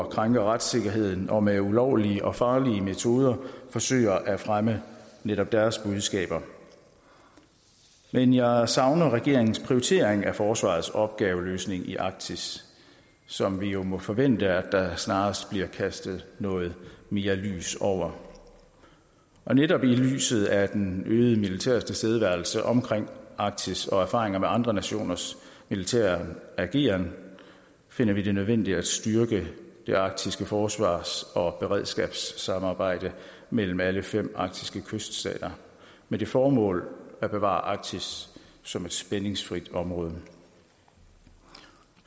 krænker retssikkerheden og med ulovlige og farlige metoder forsøger at fremme netop deres budskaber men jeg savner regeringens prioritering af forsvarets opgaveløsning i arktis som vi jo må forvente der snarest bliver kastet noget mere lys over netop i lyset af den øgede militære tilstedeværelse omkring arktis og erfaringer med andre nationers militære ageren finder vi det nødvendigt at styrke det arktiske forsvars og beredskabssamarbejde mellem alle fem arktiske kyststater med det formål at bevare arktis som et spændingsfrit område